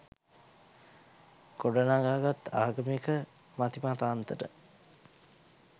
ගොඩනගාගත් ආගමික මතිමතාන්තර